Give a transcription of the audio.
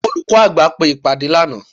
olukọ àgbá pe ìpade laná.